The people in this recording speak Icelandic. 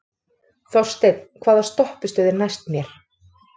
Þorsteinn, hvaða stoppistöð er næst mér?